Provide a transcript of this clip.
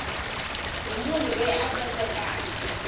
hi munhu loyi a tsandzekaku